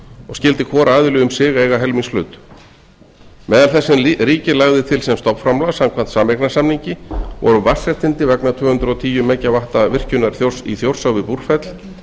og skyldi hvor aðili um sig eiga helmingshlut meðal þess sem ríkið lagði til sem stofnframlag samkvæmt sameignarsamningi voru vatnsréttindi vegna tvö hundruð og tíu megavatta virkjunar í þjórsá við búrfell